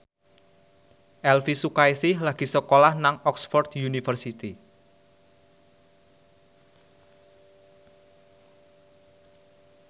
Elvy Sukaesih lagi sekolah nang Oxford university